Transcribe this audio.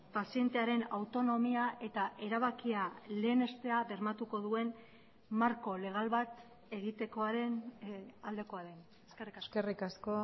pazientearen autonomia eta erabakia lehenestea bermatuko duen marko legal bat egitekoaren aldekoa den eskerrik asko eskerrik asko